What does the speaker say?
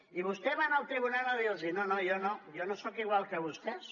i vostè va anar al tribunal a dir los no no jo no jo no soc igual que vostès